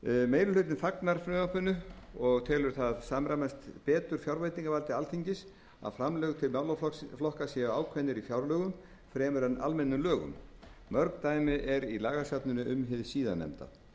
meiri hlutinn fagnar frumvarpinu og telur það samræmast betur fjárveitingavaldi alþingis að framlög til málaflokka séu ákveðin í fjárlögum fremur en almennum lögum mörg dæmi eru í lagasafninu um síðarnefnda